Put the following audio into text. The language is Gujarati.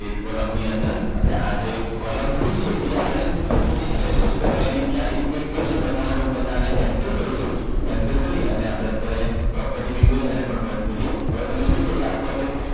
એક column ની અંદર આપણે આજે column થઈ છે એ આપણે સૌથી છેલ્લે જોશું નકર એની ચાર effect કઈ છે બતાવ માટે હું પેલા આને Cancel કરું છું. Cancel કરી અને આપણે અત્યારે Property Windows એને પણ બંધ કરીયે હવે તમે જોશો કે આપણે આટલું આપણે